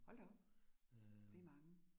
Hold da op. Det mange